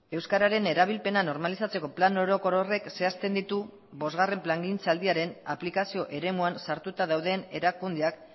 euskararen erabilpena normalizatzeko plan orokor horrek zehazten ditu bosgarren plangintzaldiaren aplikazio eremuan sartuta dauden erakundeak